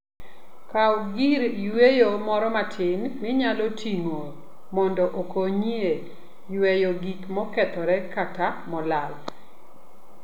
Kaw gir yweyo moro matin minyalo ting'o, mondo okony e yweyo gik mokethore kata molal.